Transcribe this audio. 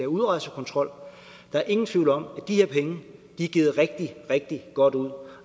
udrejsekontrol der er ingen tvivl om at de her penge er givet rigtig rigtig godt ud og